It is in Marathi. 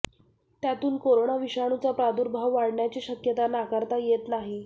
त्यातून कोरोना विषाणूचा प्रादुर्भाव वाढण्याची शक्यता नाकारता येत नाही